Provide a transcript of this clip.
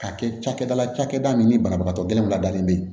Ka kɛ cakɛda la cakɛda min ni banabagatɔ gɛlɛn ladalen bɛ yen